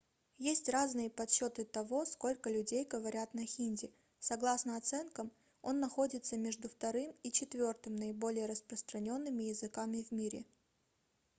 есть разные подсчёты того сколько людей говорят на хинди согласно оценкам он находится между вторым и четвёртым наиболее распространёнными языками в мире